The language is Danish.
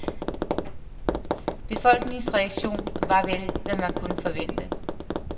Befolkningens reaktio var vel, hvad man kunne forvente.